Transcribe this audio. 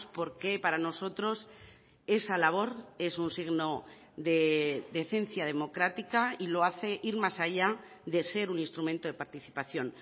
porque para nosotros esa labor es un signo de decencia democrática y lo hace ir más allá de ser un instrumento de participación